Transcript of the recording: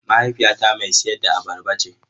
Mahaifiyata mai sayar da abarba ce.